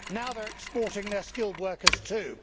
Now they are exporting their skilled workers too.